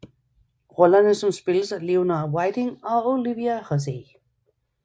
Rollerne som spilles af Leonard Whiting og Olivia Hussey